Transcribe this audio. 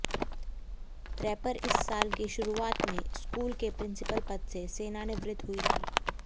रेपर इस साल की शुरुआत में स्कूल के प्रिंसिपल पद से सेवानिवृत्त हुई थी